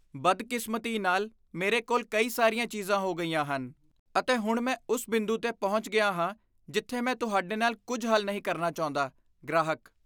ਬਦਕਿਸਮਤੀ ਨਾਲ ਮੇਰੇ ਕੋਲ ਕਈ ਸਾਰੀਆਂ ਚੀਜ਼ਾਂ ਹੋ ਗਈਆਂ ਹਨ ਅਤੇ ਹੁਣ ਮੈਂ ਉਸ ਬਿੰਦੂ 'ਤੇ ਪਹੁੰਚ ਗਿਆ ਹਾਂ ਜਿੱਥੇ ਮੈਂ ਤੁਹਾਡੇ ਨਾਲ ਕੁੱਝ ਹੱਲ ਨਹੀਂ ਕਰਨਾ ਚਾਹੁੰਦਾ ਗ੍ਰਾਹਕ